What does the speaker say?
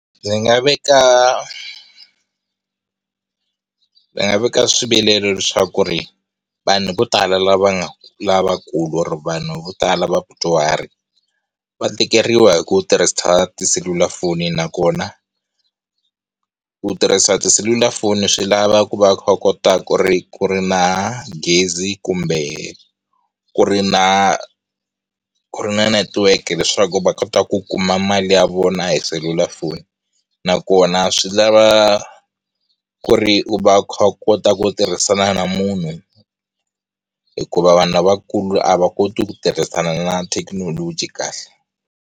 Ndzi nga veka ndzi nga veka swivilelo leswaku ku ri vanhu vo tala la va nga lavakulu or vanhu vo tala vadyuhari va tikeriwa hi ku tirhisa tiselulafoni nakona ku tirhisa tiselulafoni swi lava ku va u kha u kota ku ri ku ri na gezi kumbe ku ri na ku ri na netiweke leswaku va kota ku kuma mali ya vona hi selulafoni nakona swi lava ku ri u va u kha u kota ku tirhisana na munhu hikuva vanhu lavakulu a va koti ku tirhisana na thekinoloji kahle.